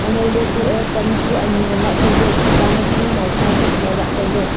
anao le kue pan chu anyi ngan la taile tuta ma chu maipua bu pola taile